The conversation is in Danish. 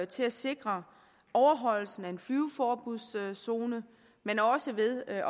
til at sikre overholdelsen af en flyveforbudszone men også ved at